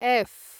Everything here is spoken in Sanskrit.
एफ्